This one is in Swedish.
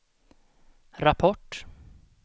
rapport